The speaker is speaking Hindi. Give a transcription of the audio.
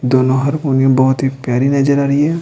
दोनों हारमोनियम बहुत ही प्यारी नजर आ रही है।